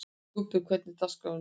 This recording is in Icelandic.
Kubbur, hvernig er dagskráin í dag?